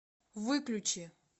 выключи